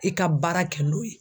I ka baara kɛ n'o ye.